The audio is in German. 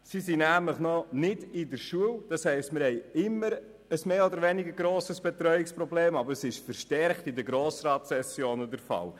Sie sind noch nicht schulpflichtig, das heisst wir haben immer ein mehr oder weniger grosses Betreuungsproblem, aber es ist während der Grossratssession verstärkt vorhanden.